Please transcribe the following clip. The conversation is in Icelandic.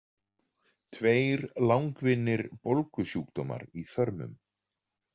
Tveir langvinnir bólgusjúkdómar í þörmum.